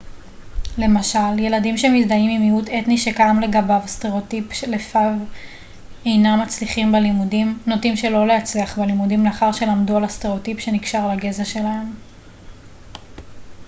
למשל ילדים שמזדהים עם מיעוט אתני שקיים לגביו סטראוטיפ שלפיו אינם מצליחים בלימודים נוטים שלא להצליח בלימודים לאחר שלמדו על הסטראוטיפ שנקשר לגזע שלהם